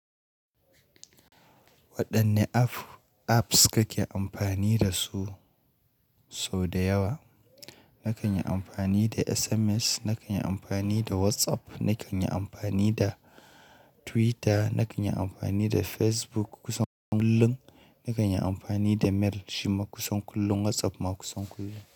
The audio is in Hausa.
Waɗanne app- apps kake amfani da su sau da yawa? Nakan yi amfani da SMS, nakan yi amfani da WhatsApp, nakan yi amfani da Twitter, nakan yi amfani da Facebook kusan kullum, nakan yi amfani da Mail shima kusan kullum, WhatsApp ma kusan kullum.